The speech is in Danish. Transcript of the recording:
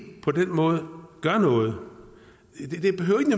på den måde gøre noget